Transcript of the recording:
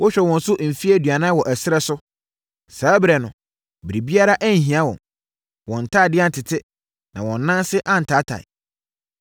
Wohwɛɛ wɔn so mfeɛ aduanan wɔ ɛserɛ so. Saa ɛberɛ no, biribiara anhia wɔn. Wɔn ntadeɛ antete, na wɔn anan ase antaatae.